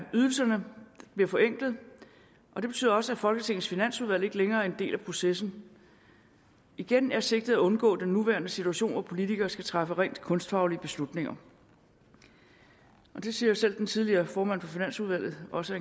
ydelserne bliver forenklet og det betyder også at folketingets finansudvalg ikke længere er en del af processen igen er sigtet at undgå den nuværende situation hvor politikere skal træffe rent kunstfaglige beslutninger og det siger jo selv den tidligere formand for finansudvalget også